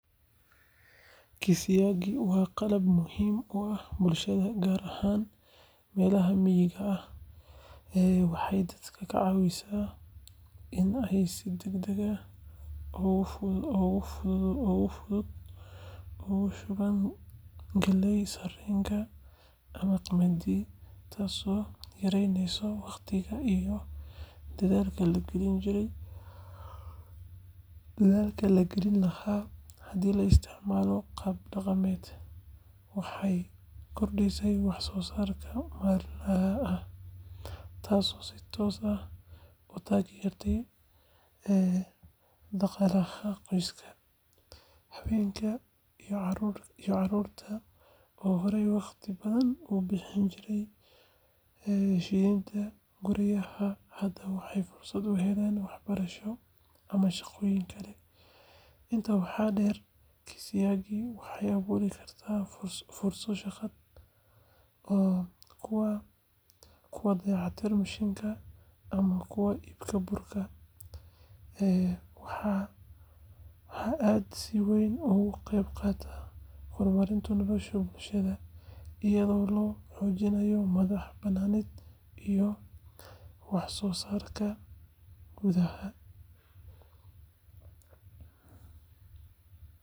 Kisiagi waa qalab muhiim u ah bulshada, gaar ahaan meelaha miyiga ah. Waxay dadka ka caawisaa in ay si degdeg ah oo fudud ugu shubaan galleyda, sarreenka, ama qamadiga, taasoo yareyneysa waqtiga iyo dadaalka la gelin lahaa haddii la isticmaalo hab dhaqameed. Waxay kordhisaa wax-soo-saarka maalinlaha ah, taasoo si toos ah u taageerta dhaqaalaha qoyska. Haweenka iyo carruurta oo horay waqti badan ugu bixin jiray shiididda guryaha, hadda waxay fursad u helaan waxbarasho ama shaqooyin kale. Intaa waxaa dheer, kisiagi waxay abuuri kartaa fursado shaqo sida kuwa dayactirka mishiinka ama kuwa iibka burka. Waa aalad si weyn uga qeyb qaadata horumarinta nolosha bulshada, iyadoo la xoojinayo madax-bannaanida iyo wax-soo-saarka gudaha..